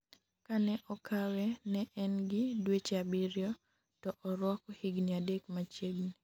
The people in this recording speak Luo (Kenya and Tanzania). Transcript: ka ne okawe ne en gi dueche abiriyo to orwako higni adek machiegni